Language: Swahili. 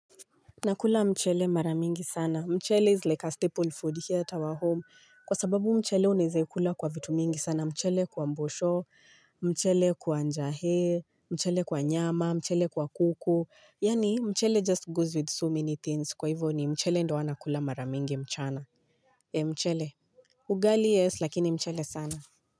Nakula mchele mara mingi sana. Mchele is like a staple food here at our home. Kwa sababu mchele unaezeikula kwa vitu mingi sana. Mchele kwa mbosho, mchele kwa njahe, mchele kwa nyama, mchele kwa kuku. Yaani mchele just goes with so many things. Kwa hivyo ni mchele ndo wanakula mara mingi mchana. E mchele, ugali yes lakini mchele sana.